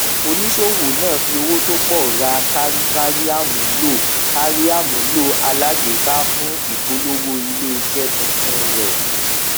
oníṣòwò náà fi owó tó pọ ra kárí kárí àmúlò kárí àmúlò alágbèéká fún ìpolówó ilé iṣẹ tuntun rẹ